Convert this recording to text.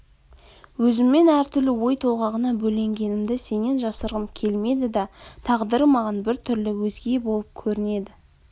өзіммен әртүрлі ой толғағына бөленгенімді сенен жасырғым келмеді да тағдыры маған біртүрлі өзге болып көрінеді